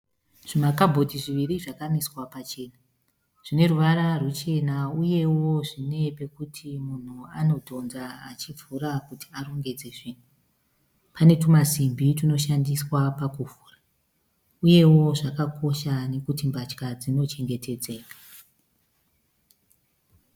Zvimakabhodhi zviviri zvakamiswa pachena. Zvineruvara ruchena uyewo zvine pekuti munhu anodhonza achivhura kuti arongedze zvinhu. Pane tumasimbi tunoshandiswa pakuvhura. Uyewo zvakakosha nekuti mbatya dzino chengetedzeka.